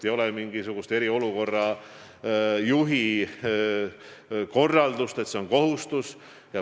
Ei ole mingisugust eriolukorra juhi korraldust, et see on kohustus.